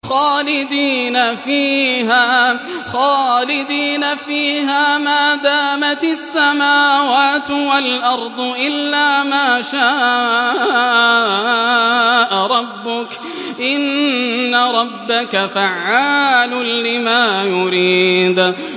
خَالِدِينَ فِيهَا مَا دَامَتِ السَّمَاوَاتُ وَالْأَرْضُ إِلَّا مَا شَاءَ رَبُّكَ ۚ إِنَّ رَبَّكَ فَعَّالٌ لِّمَا يُرِيدُ